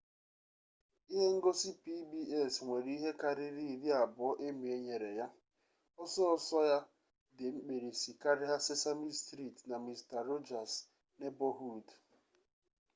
ihe ngosi pbs nwere ihe kariri iri abuo emmy nyere ya oso oso ya di mkpirisi karia sesame street na mister rogers 'neighborhood